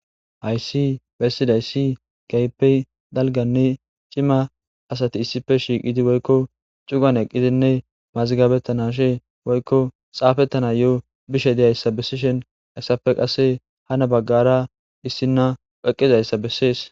hayssi bessidayssi keehippe dalganne cima asati issife shiiqidi woykko cugan eqqizinne mazigabettanashe woykko xaafettana yo7o bishe deyayssa bessishen hayssafe qasse hana baggara issinna weqqizayssa bessees